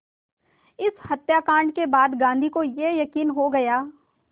इस हत्याकांड के बाद गांधी को ये यक़ीन हो गया